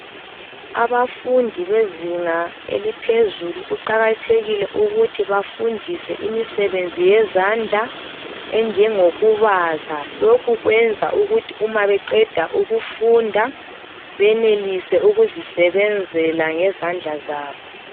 Abafundi bezinga eliphezulu, kuqakathekile ukuthi bafundiswe imisebenzi yezandla enjengokubaza, lokhu kwenza ukuthi uma beqeda ukufunda benelise ukuzisebenzela ngezandla zabo.